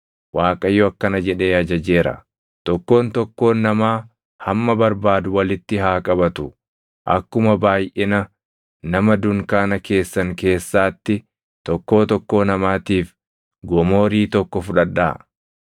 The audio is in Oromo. Waaqayyo akkana jedhee ajajeera: ‘Tokkoon tokkoon namaa hamma barbaadu walitti haa qabatu. Akkuma baayʼina nama dunkaana keessan keessaatti tokkoo tokkoo namaatiif gomoorii tokko fudhadhaa.’ ”